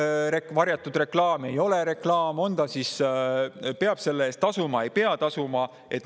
On see varjatud reklaam, ei ole reklaam, peab selle eest tasuma, ei pea tasuma?